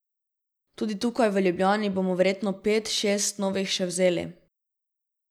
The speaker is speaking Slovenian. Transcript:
Tudi tukaj v Ljubljani bomo verjetno pet, šestih novih še vzeli.